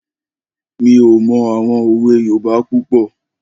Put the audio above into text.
Mi ò mọ àwọn òwe yoòbá púpọ̀